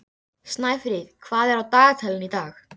Snæfríð, hvað er á dagatalinu í dag?